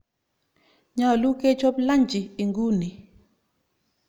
Nyalu kechop lanji inguni.